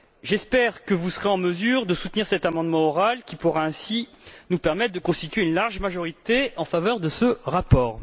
J'espère que vous serez en mesure de soutenir cet amendement oral qui pourra ainsi nous permettre de constituer une large majorité en faveur de ce rapport.